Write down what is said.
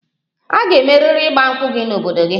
A ga-emeriri 'Igba nkwu' gị n'obodo gị!